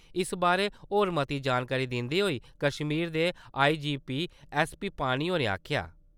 इस बारै होर मती जानकारी दिंदे होई कश्मीर दे आई.जी.पी एस.पी. पानी होरें आक्खेआ।